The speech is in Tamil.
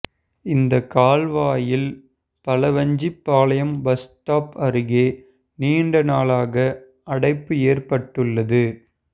இந்த கால்வாயில் பலவஞ்சிபாளையம் பஸ் ஸ்டாப் அருகே நீண்ட நாளாக அடைப்பு ஏற்பட்டுள்ளது